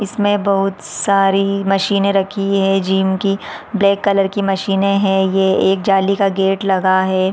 इसमें बहुत सारी मशीने रखी है जिम की ब्लैक कलर की मशीने हैं ये एक जाली का गेट लगा है।